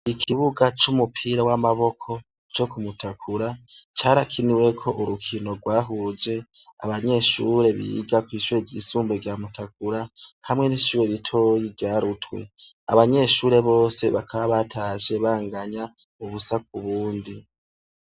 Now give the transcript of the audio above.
Ikibuga c'umupira w'amaboko co kumutakura carakiniweko urukino gwahuje abanyeshure biga kw'ishuri ryisumbuye rya mutakura hamwe n'ishure ritoya rya rutwe. Abanyeshure bose bakaba batashe banganya ubusa k'ubundi.